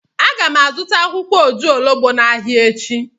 Aga m azụta akwụkwọ ojuologbo n'ahịa echi.